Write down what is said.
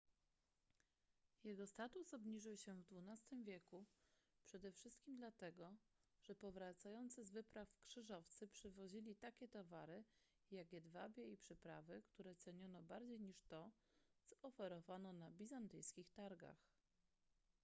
jego status obniżył się w xii wieku przede wszystkim dlatego że powracający z wypraw krzyżowcy przywozili takie towary jak jedwabie i przyprawy które ceniono bardziej niż to co oferowano na bizantyjskich targach